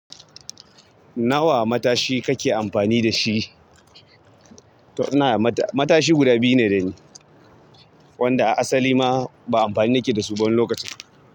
Nawa matashi kake amfani da shi? To ina da mata- matashi guda biyu ne dani, wanda asali ma ba amfani nake da su ba wani lokaci.